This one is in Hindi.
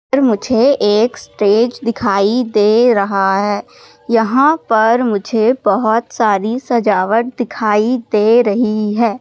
और मुझे एक स्टेज दिखाई दे रहा है यहाँ पर मुझे बहोत सारी सजावट दिखाई दे रही है।